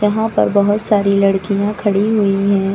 यहां पर बहोत सारी लड़कियां खड़ी हुई है।